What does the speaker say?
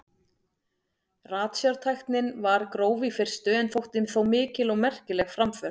Ratsjártæknin var gróf í fyrstu en þótti þó mikil og merkileg framför.